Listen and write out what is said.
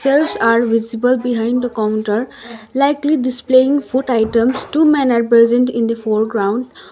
shelves are visible behind the counter likely displaying food items two men are present in the foreground.